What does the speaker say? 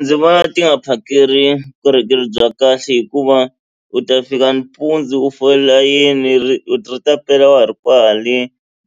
Ndzi vona ti nga phakeli vukorhokeri bya kahle hikuva u ta fika nimpundzu u fola layeni ri ta pela wa ha ri kwale